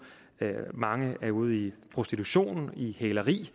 mange er ude i prostitution i hæleri